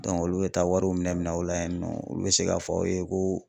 olu bɛ taa wariw minɛ minɛ aw la yen nɔ olu bɛ se k'a fɔ aw ye ko